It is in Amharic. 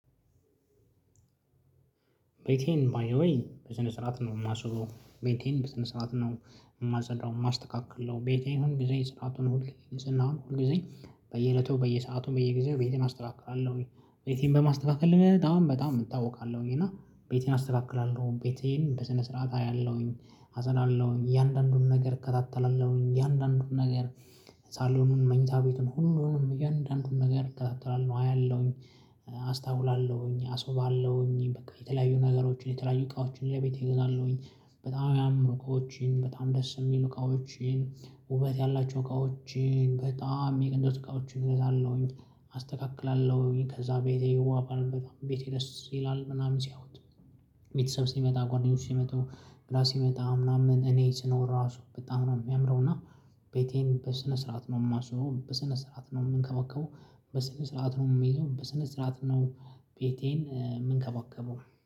ቤቴን ባይዘወይ በስነ ስርዓት ነው የማስውበው ቤቴን በስነ ስርዓት ነው የማጸዳው የማስተካክለው ቤቴን ሁል ጊዜ ስርዓቱን ሁል ጊዜ ንህፅና ሁል ጊዜ በየእለቱ በየሰአቱም በየጊዜው ቤቴን አስተካክላለሁኝ። ቤቴን በማስተካከል በጣም በጣም እታወቃለሁኝ። እና ቤቴን አስተካክላለሁ ቤቴን በስነ ስርዓት አያለሁኝ አጸዳለሁኝ እያንዳንዱን ነገር እከታተላለሁኝ እያንዳንዱን ነገር። ሳሎን መኝታ ቤቱን ሁሉንም እያንዳንዱን ነገር እከተላለሁ አያለሁኝ አስታውላለሁኝ አስውባለሁኝ በቃ የተለያዩ ነገሮችን የተለያዩ እቃዎችን ለቤቴ እገዛለሁኝ። በጣም የሚያማምሩ እቃዎችን በጣም ደስ የሚሉ እቃዎችን ውበት ያላቸው እቃዎችን በጣም እንደሱ እቃዎችን እገዛለሁኝ። አስተካክላለሁኝ ከዛ ቤቴ በጣም ቤቴ ደስ ይላል ምናምን ሲያዩት። ቤተሰብ ሲመጣ ጓደኞች ሲመጡ ብላ ሲመጣ ምናምን እኔ ስኖር ራሱ በጣም ነው የሚያምረው። እና ቤቴን በስነ ስርዓት ነው የማስውበው በስነ ስርዓት ነው የምንከባከበው። በስነ ስርዓት ነው የምሄደው በስነ ስርዓት ነው ቤቴን የምንከበከበው